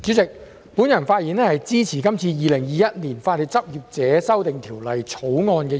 代理主席，我發言支持《2021年法律執業者條例草案》的二讀。